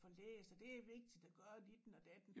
Få læst og det er vigtigt at gøre ditten og datten